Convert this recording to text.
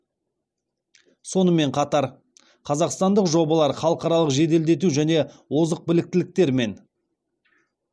сонымен қатар қазақстандық жобалар халықаралық жеделдету және озық біліктіліктермен